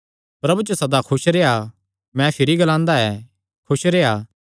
प्रभु च सदा खुस रेह्आ मैं भिरी ग्लांदा ऐ खुस रेह्आ